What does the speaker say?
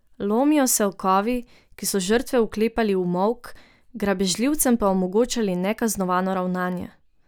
Lomijo se okovi, ki so žrtve vklepali v molk, grabežljivcem pa omogočali nekaznovano ravnanje.